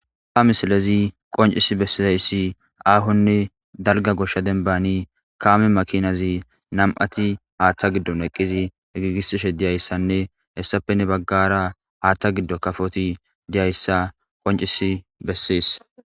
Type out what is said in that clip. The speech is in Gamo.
ha misilezi qoncisi bessizayssi aahonne dalga goshsha denbani kaame makinazi nam7ati haaththa giddon eqqizi giigisishe diyayssanne hessappenne baggara haaththa giddo kafoti diyayssa qoncis bessees